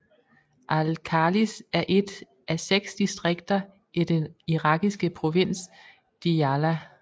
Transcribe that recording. Al Khalis er et af 6 distrikter i den irakiske provins Diyala